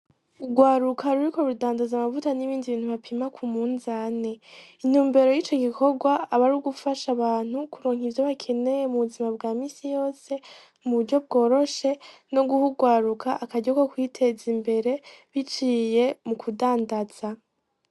Urwaruka ruriko rudandaza amavuta n'ibindi bintu bapima ku munzane, intumbero y'ico gikorwa ni ugufasha abantu kuronko ivyo bakeneye mu buzima bwa misi yose mu buryo bworoshe no guha urwaruka akaryo ko kwiteza imbere biciye mu kudandaza.